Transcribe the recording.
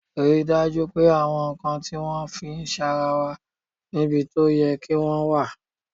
Rí i dájú pé àwọn nǹkan tí wọ́n fi ń sanra wà níbi tó yẹ kí wọ́n wà!